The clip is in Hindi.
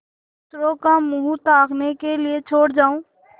दूसरों का मुँह ताकने के लिए छोड़ जाऊँ